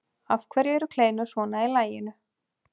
Af hverju eru kleinur svona í laginu?